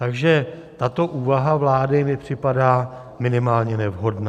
Takže tato úvaha vlády mi připadá minimálně nevhodná.